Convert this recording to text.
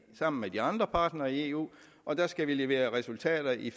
sammen med de andre partnere i eu og der skal vi levere resultater i